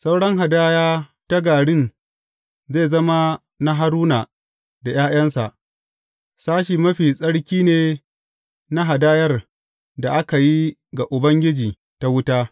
Sauran hadaya ta garin zai zama na Haruna da ’ya’yansa; sashe mafi tsarki ne na hadayar da aka yi ga Ubangiji ta wuta.